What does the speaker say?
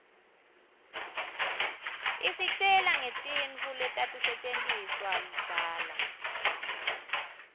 isitjela ngetintfu letatisetjentiswaluudzala